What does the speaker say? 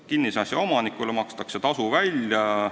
Kinnisasja omanikule makstakse tasu välja.